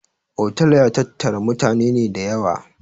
Otal ya tattara mutane ne da yawa